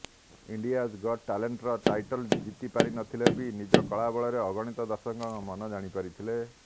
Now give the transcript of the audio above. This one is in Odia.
ଇଣ୍ଡିଆଜ୍ ଗଟ୍ ଟ୍ୟାଲେଣ୍ଟର ଟାଇଟଲ୍ ଜିତିପାରିନଥିଲେ ବି ନିଜ କଳା ବଳରେ ଅଗଣିତ ଦର୍ଶକଙ୍କ ମନ ଜିଣିପାରିଥିଲେ